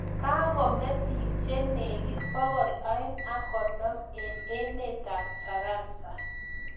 Kakomee piik che negit pokol aeng ak konom eng emet ab faransa